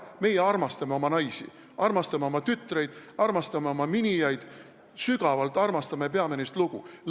Meie armastame oma naisi, armastame oma tütreid, armastame oma miniaid, sügavalt armastame ja peame neist lugu.